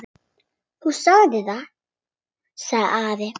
Þú sagðir það, sagði Ari.